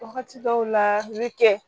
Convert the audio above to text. Wagati dɔw la i bɛ kɛ